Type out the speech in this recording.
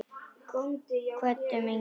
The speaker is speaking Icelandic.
Kvöddum engan.